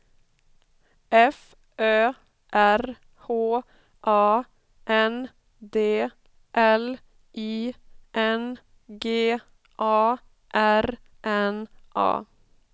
F Ö R H A N D L I N G A R N A